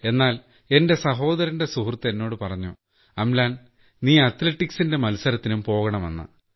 എന്നാൽ എന്റെ സഹോദരന്റെ സുഹൃത്ത് എന്നോടു പറഞ്ഞു അംലാൻ നീ അത്ലറ്റിക്സിന്റെ മത്സരത്തിനും പോകണമെന്ന്